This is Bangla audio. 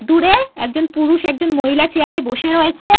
দূরে একজন পুরুষ একজন মহিলা চেয়ার এ বসে রয়েছে ।